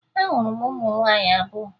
Ahụrụ m ụmụ nwaanyị abụọ